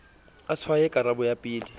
a tshwaye karabo ya pele